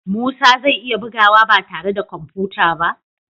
Musa zai iya bugawa ba tare da kwamfuta ba?